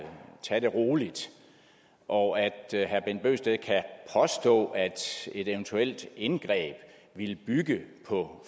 tage det meget roligt og at herre bent bøgsted kan påstå at et eventuelt indgreb vil bygge på